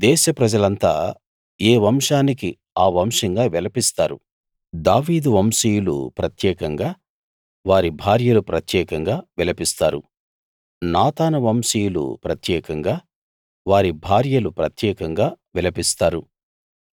దేశ ప్రజలంతా ఏ వంశానికి ఆ వంశంగా విలపిస్తారు దావీదు వంశీయులు ప్రత్యేకంగా వారి భార్యలు ప్రత్యేకంగా విలపిస్తారు నాతాను వంశీయులు ప్రత్యేకంగా వారి భార్యలు ప్రత్యేకంగా విలపిస్తారు